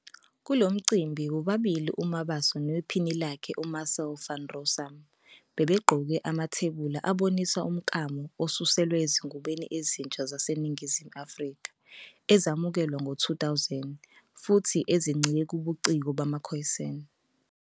Kulo mcimbi, bobabili uMabaso nephini lakhe uMarcel van Rossum, bebegqoke amathebula abonisa umklamo osuselwe ezingubeni ezintsha zaseNingizimu Afrika ezamukelwa ngo-2000 futhi ezincike kubuciko bamaKhoisan.